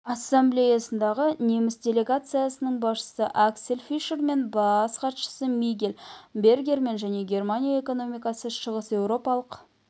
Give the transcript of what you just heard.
ассамблеясындағы неміс делегациясының басшысы аксель фишермен бас хатшысы мигель бергермен және германия экономикасы шығыс еуропалық